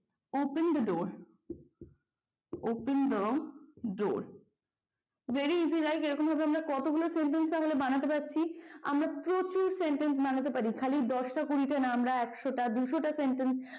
open the door, open the door very easy right এরকম ভাবে আমরা কতগুলো sentence বানাতে পারছি আমরা প্রচুর sentence বানাতে পারি খালি দশটা কুড়িটা না আমরা একশ টা দুশ টা sentence